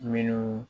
Minnu